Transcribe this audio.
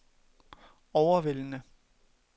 overvældende